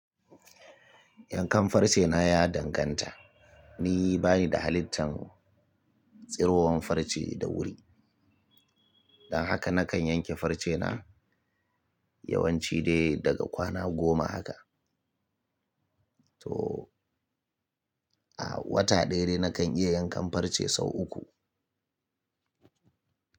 Yankan farce na ya danganta. Ni bani da halittan tsirowar farce da wuri. Dan haka na kan yanke farce na yawanci dai daga kwana goma haka. To, a wata ɗaya dai na kan iya yankan farce sau uku.